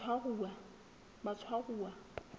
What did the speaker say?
batshwaruwa